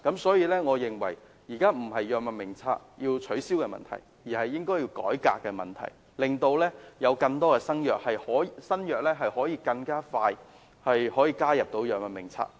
所以，我認為現時要解決的不是要取消《藥物名冊》的問題，而是應該要進行改革，令更多新藥可以盡快加入《藥物名冊》。